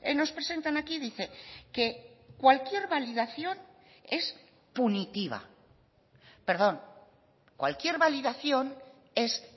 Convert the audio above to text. nos presentan aquí dice que cualquier validación es punitiva perdón cualquier validación es